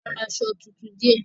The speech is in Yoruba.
A ra aṣọ tuntun díẹ̀.